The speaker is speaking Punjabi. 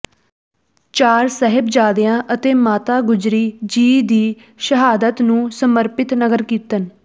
ਚਾਰ ਸਾਹਿਬਜ਼ਾਦਿਆਂ ਅਤੇ ਮਾਤਾ ਗੁਜਰੀ ਜੀ ਦੀ ਸ਼ਹਾਦਤ ਨੂੰ ਸਮਰਪਿਤ ਨਗਰ ਕੀਰਤਨ